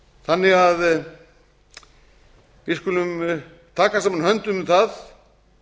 þannig að við skulum taka saman höndum um það